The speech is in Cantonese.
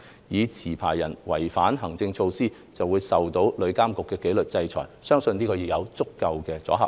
如持牌人違反行政措施，會受到旅監局的紀律制裁，相信已有足夠的阻嚇力。